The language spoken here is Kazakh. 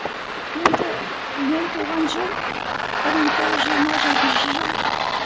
енді мен туған жыл бір мың тоғыз жүз жиырма жетінші жыл